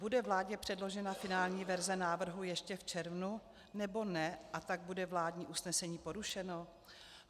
Bude vládě předložena finální verze návrhu ještě v červnu, nebo ne, a tak bude vládní usnesení porušeno?